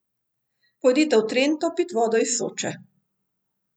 Pojdite v Trento pit vodo iz Soče.